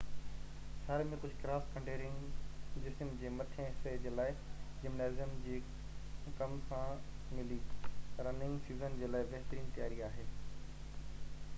سياري ۾ ڪجهه cross country running جسم جي مٿين حصي جي لاءِ جمنازيم جي ڪم سان ملي رننگ سيزن جي لاءِ بهترين تياري آهي